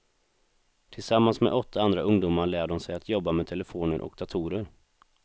Tillsammans med åtta andra ungdomar lär de sig att jobba med telefoner och datorer.